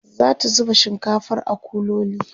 zata zuba shinkafar a kuloli